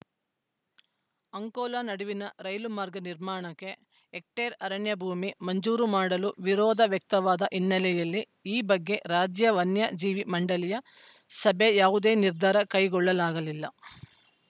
ಅಂಕೋಲ ನಡುವಿನ ರೈಲು ಮಾರ್ಗ ನಿರ್ಮಾಣಕ್ಕೆ ಹೆಕ್ಟೇರ್‌ಅರಣ್ಯ ಭೂಮಿ ಮಂಜೂರು ಮಾಡಲು ವಿರೋಧ ವ್ಯಕ್ತವಾದ ಹಿನ್ನೆಲೆಯಲ್ಲಿ ಈ ಬಗ್ಗೆ ರಾಜ್ಯ ವನ್ಯ ಜೀವಿ ಮಂಡಳಿಯ ಸಭೆ ಯಾವುದೇ ನಿರ್ಧಾರ ಕೈಗೊಳ್ಳಲಾಗಲಿಲ್ಲ